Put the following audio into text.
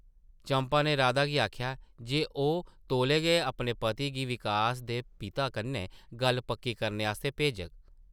चंपा नै राधा गी आखेआ जे ओह् तौले गै अपने पति गी विकास दे पिता कन्नै गल्ल पक्की करने आस्तै भेजग ।